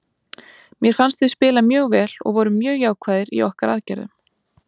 Mér fannst við spila mjög vel og vorum mjög jákvæðir í okkar aðgerðum.